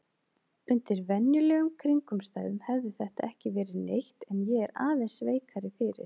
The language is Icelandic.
Undir venjulegum kringum stæðum hefði þetta ekki verið neitt en ég er aðeins veikari fyrir.